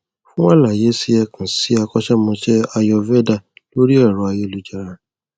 fún àlàyé si ẹ ẹ kàn ssọdọ akọṣẹmọsé ayurveda lórí ẹrọ ayélujára